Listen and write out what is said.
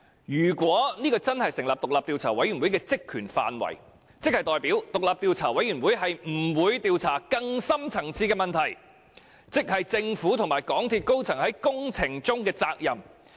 如果這真的成為獨立調查委員會的職權範圍，便代表獨立調查委員會不會調查更深層次的問題，即政府和港鐵公司高層在工程中的責任問題。